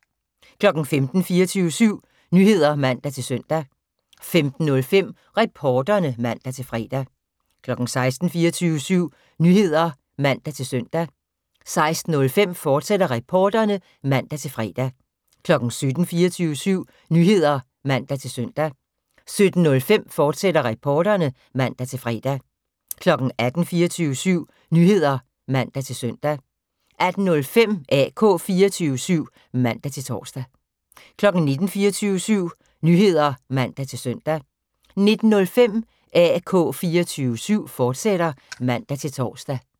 15:00: 24syv Nyheder (man-søn) 15:05: Reporterne (man-fre) 16:00: 24syv Nyheder (man-søn) 16:05: Reporterne, fortsat (man-fre) 17:00: 24syv Nyheder (man-søn) 17:05: Reporterne, fortsat (man-fre) 18:00: 24syv Nyheder (man-søn) 18:05: AK 24syv (man-tor) 19:00: 24syv Nyheder (man-søn) 19:05: AK 24syv, fortsat (man-tor)